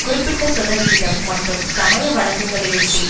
குறிப்பிட்ட சதவிகிதம் மட்டும் சமய வழக்கங்களையொட்டி